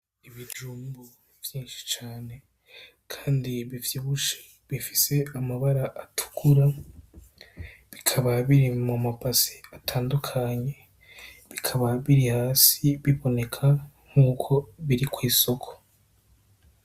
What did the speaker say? Ibijumbu byinshi cane Kandi bivyibushe bifise amabara atukura bikaba biri mumabase atandukanye ,bikaba biri hasi biboneka yuko biri kw’isoko.